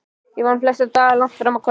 Ég vann flesta daga langt fram á kvöld.